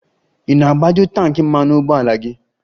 Ị na-agbaju tanki mmanụ ụgbọala gị?